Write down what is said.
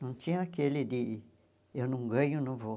Não tinha aquele de eu não ganho, não vou.